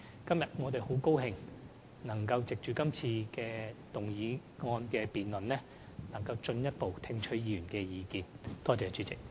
今天，我很高興能藉這項議案的辯論，進一步聽取議員的意見。